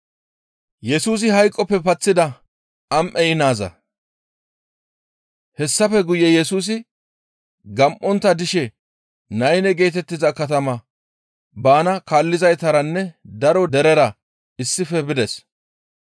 Hessafe guye Yesusi gam7ontta dishe Nayne geetettiza katama bana kaallizaytaranne daro derera issife bides.